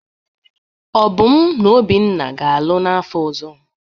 Obum na Obinna ga-alụ n'afọ ọzọ.